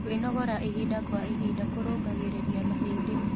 Kwĩnogora ĩhĩda kwa ĩhĩda kũrũngagĩrĩrĩa mahĩndĩ